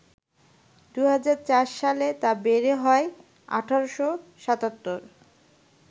২০০৪ সালে তা বেড়ে হয় ১৮৭৭